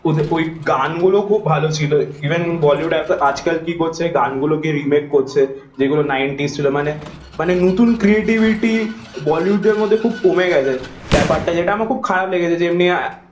ওই গান গুলো খুব ভালো ছিল ইভেন বলিউড আজ কাল কি করছে গান গুলো কে রিমেক করছে এই গুলো নাইন্টিজ ছিল মানে নতুন ক্রিয়েটিভিটি বলিউডের মধ্যে খুব কমে গাছে ব্যাপারটা যেটা আমার খুব খারাপ লেগেছে